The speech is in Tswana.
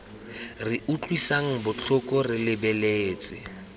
re utlwisang botlhoko re lebeletse